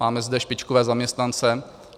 Máme zde špičkové zaměstnance.